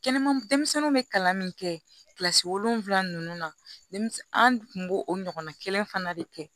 Kɛnɛma denmisɛnninw bɛ kalan min kɛ kilasi wolonwula ninnu na an tun b'o o ɲɔgɔnna kelen fana de kɛ